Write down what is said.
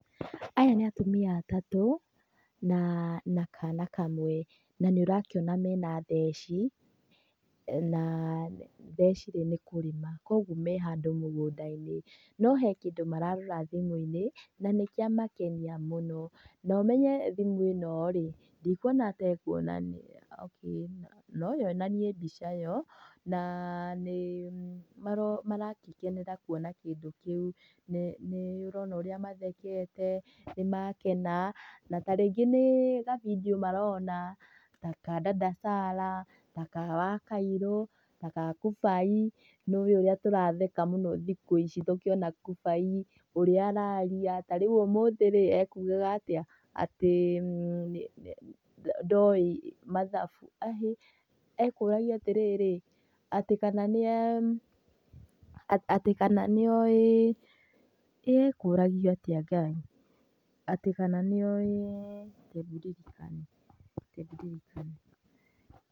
Aya nĩ atumia atatũ na kana kamwe na nĩ ũrakĩona mena theci na theci rĩ nĩ kũrĩma. Koguo me handũ mũgũnda-inĩ no he kĩndũ mararora thimũ-inĩ na nĩ kĩamakenia mũno. Na ũmenye thimũ ĩno rĩ ndikuona ta ĩkuonania okay, no yonanie mbica yo na nĩ marakenera kuona kĩndũ kĩu. Nĩ ũrona ũrĩa mathekete, nĩ makena na tarĩngĩ nĩ gabindiũ marona ta ka Dada Sarah, ta ka Wakairũ ta ga kubai, nĩ mũĩ ũrĩa tũratheka mũno thikũ ici tũkĩona kubai ũrĩa araria. Tarĩu ũmũthĩ rĩ ekugaga atĩa atĩ ndoĩ mathabu, ĩhĩ ekũragio atirĩrĩ, atĩ kana nĩ e, atĩ kana nĩ oĩ, ĩ ekũragio atĩa Ngai, atĩ kana nĩ oĩ, kendirikane, ke ndirikane.